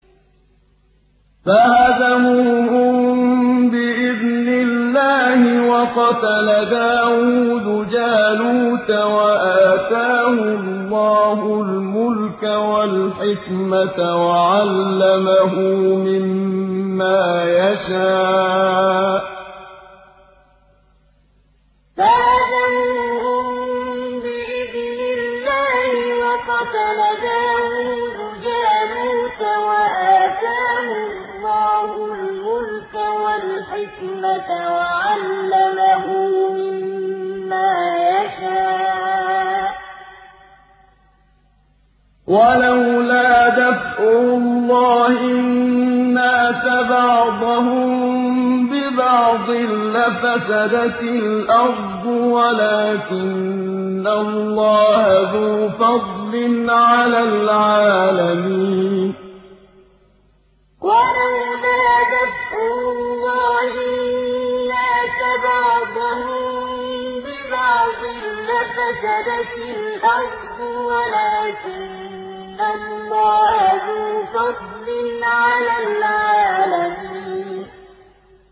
فَهَزَمُوهُم بِإِذْنِ اللَّهِ وَقَتَلَ دَاوُودُ جَالُوتَ وَآتَاهُ اللَّهُ الْمُلْكَ وَالْحِكْمَةَ وَعَلَّمَهُ مِمَّا يَشَاءُ ۗ وَلَوْلَا دَفْعُ اللَّهِ النَّاسَ بَعْضَهُم بِبَعْضٍ لَّفَسَدَتِ الْأَرْضُ وَلَٰكِنَّ اللَّهَ ذُو فَضْلٍ عَلَى الْعَالَمِينَ فَهَزَمُوهُم بِإِذْنِ اللَّهِ وَقَتَلَ دَاوُودُ جَالُوتَ وَآتَاهُ اللَّهُ الْمُلْكَ وَالْحِكْمَةَ وَعَلَّمَهُ مِمَّا يَشَاءُ ۗ وَلَوْلَا دَفْعُ اللَّهِ النَّاسَ بَعْضَهُم بِبَعْضٍ لَّفَسَدَتِ الْأَرْضُ وَلَٰكِنَّ اللَّهَ ذُو فَضْلٍ عَلَى الْعَالَمِينَ